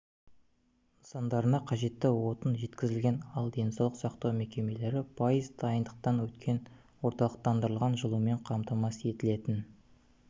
нысандарына қажетті отын жеткізілген ал денсаулық сақтау мекемелері пайыз дайындықтан өткен орталықтандырылған жылумен қамтамасыз етілетін